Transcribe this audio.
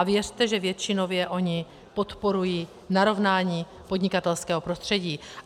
A věřte, že většinově oni podporují narovnání podnikatelského prostředí.